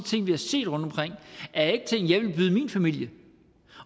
af ikke ting jeg ville byde min familie